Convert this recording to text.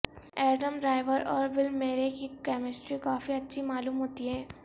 Adam Driver اور Bill Murray کی chemistry کافی اچھی معلوم ہوتی ہے